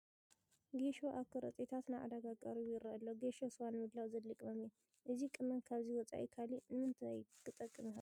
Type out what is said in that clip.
ጌሾ ኣብ ከረጢታት ናብ ዕዳጋ ቀሪቡ ይርአ ኣሎ፡፡ ጌሾ ስዋ ንምድላው ዘድሊ ቅመም እዩ፡፡ እዚ ቅመም ካብዚ ወፃኢ ካልእ ንምንታይ ክጠቅም ይኽእል?